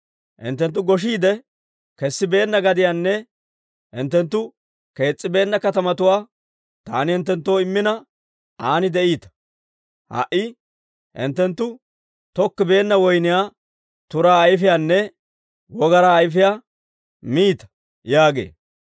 Hinttenttu goshshiidde kessibeenna gadiyanne hinttenttu kees's'ibeenna katamatuwaa taani hinttenttoo immina, an de'iita. Ha"i hinttenttu tokkibeenna woyniyaa turaa ayfiyaanne wogaraa ayfiyaa miita› yaagee.